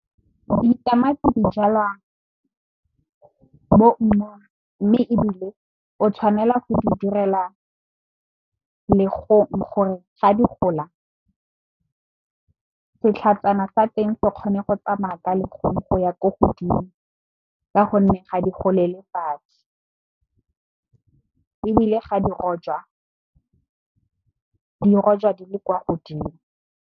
Ditamati di jalwa moumong mme, ebile o tshwanela go di direla legong gore ga di gola setlhajana sa teng se kgone go tsamaya ka legong go ya ko godimo ka gonne, ga di golele fatshe ebile ga di rojwa di rojwa di le kwa godimo.